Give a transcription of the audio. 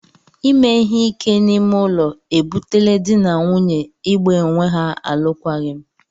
Ime ihe ike n'ime ụlọ e butela dị na nwunye ị gba onwe ha alụkwaghịm.